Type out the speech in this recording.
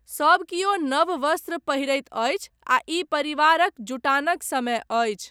सब कियो नव वस्त्र पहिरैत अछि आ ई परिवारक जुटानक समय अछि।